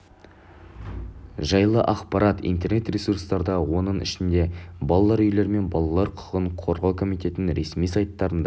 жайлы ақпарат интернет ресурстарда оның ішінде балалар үйлері мен балалар құқығын қорғау комитетінің ресми сайтарында